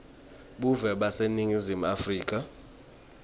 buve baseningizimu afrika